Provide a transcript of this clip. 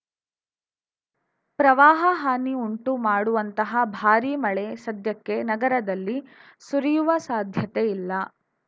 ಪ್ರವಾಹ ಹಾನಿ ಉಂಟು ಮಾಡುವಂತಹ ಭಾರಿ ಮಳೆ ಸದ್ಯಕ್ಕೆ ನಗರದಲ್ಲಿ ಸುರಿಯುವ ಸಾಧ್ಯತೆ ಇಲ್ಲ